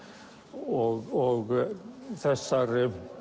og þessar